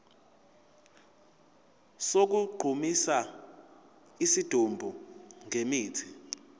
sokugqumisa isidumbu ngemithi